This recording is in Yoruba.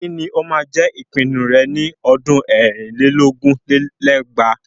Kí ni ó máa jẹ ìpinnu rẹ ní ọdún ẹ̀rìn lé lógún lé lẹ́gbàá?